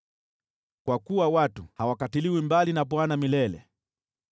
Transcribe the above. Kwa kuwa watu hawakatiliwi mbali na Bwana milele.